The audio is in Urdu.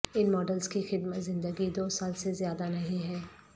ان ماڈلز کی خدمت زندگی دو سال سے زیادہ نہیں ہے